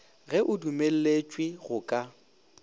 ge o dumelletšwe go ka